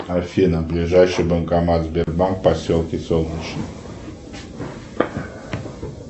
афина ближайший банкомат сбербанк в поселке солнечный